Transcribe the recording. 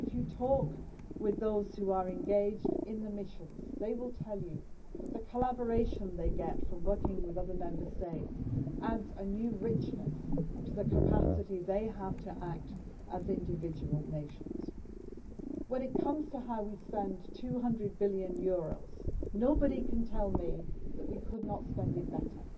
If you talk with those who are engaged in the missions, they will tell you that the collaboration they get from working with other Member States adds a new richness to the capacity they have to act as individual nations. When it comes to how we spend EUR 200 billion, nobody can tell me that we could not spend it better.